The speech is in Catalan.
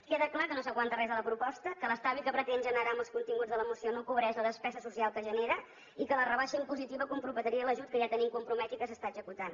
queda clar que no s’aguanta res de la proposta que l’estalvi que pretén generar amb els continguts de la moció no cobreix la despesa social que genera i que la rebaixa impositiva comprometria l’ajut que ja tenim compromès i que s’està executant